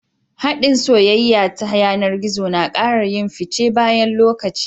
hadin soyayya ta yanar gizo nakara yin fice bayan lokaci